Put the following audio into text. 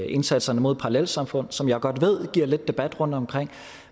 indsatserne mod parallelsamfund som jeg godt ved giver lidt debat rundtomkring